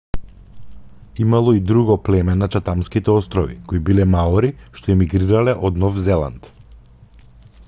имало и друго племе на чатамските острови кои биле маори што емигрирале од нов зеланд